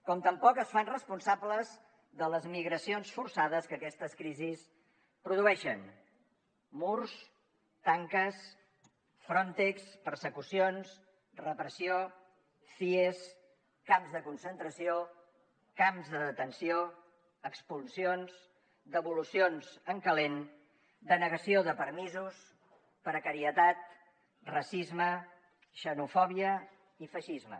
com tampoc es fan responsables de les migracions forçades que aquestes crisis produeixen murs tanques frontex persecucions repressió cies camps de concentració camps de detenció expulsions devolucions en calent denegació de permisos precarietat racisme xenofòbia i feixisme